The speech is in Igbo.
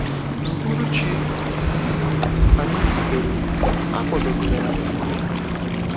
N’uhuruchi um anyị rutere, a kwadobere anyị nri.